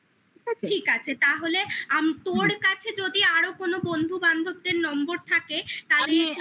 ঠিক আছে তাহলে তোর কাছে যদি আরো কোনো বন্ধু বান্ধবদের নম্বর থাকে তাহলে তুই